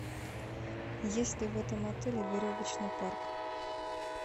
есть ли в этом отеле веревочный парк